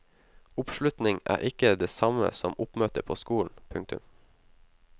Oppslutning er ikke det samme som oppmøte på skolen. punktum